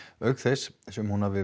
auk þess em hún hafi